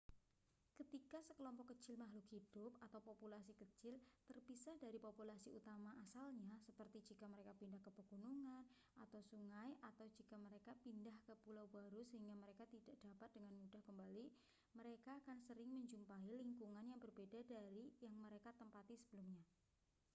ketika sekelompok kecil makhluk hidup populasi kecil terpisah dari populasi utama asalnya seperti jika mereka pindah ke pegunungan atau sungai atau jika mereka pindah ke pulau baru sehingga mereka tidak dapat dengan mudah kembali mereka akan sering menjumpai lingkungan yang berbeda dari yang mereka tempati sebelumnya